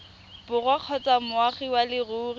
borwa kgotsa moagi wa leruri